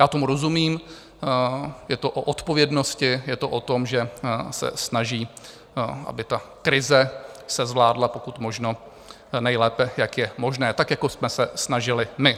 Já tomu rozumím, je to o odpovědnosti, je to o tom, že se snaží, aby ta krize se zvládla pokud možno nejlépe, jak je možné, tak jako jsme se snažili my.